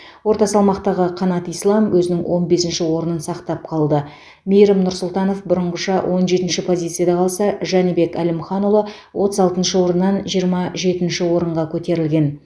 орта салмақтағы қанат ислам өзінің он бесінші орнын сақтап қалды мейірім нұрсұлтанов бұрынғыша он жетінші позицияда қалса жәнібек әлімханұлы отыз алтыншы орыннан жиырма жетінші орынға көтерілген